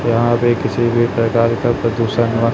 यहां पे किसी भी प्रकार का प्रदूषण हुआ--